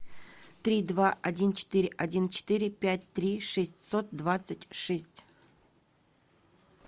три два один четыре один четыре пять три шестьсот двадцать шесть